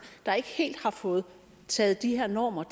der ikke helt har fået taget de her normer